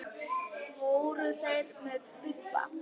Fóru þeir með Bibba?